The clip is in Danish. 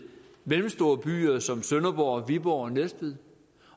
mellemstore byer som sønderborg viborg og næstved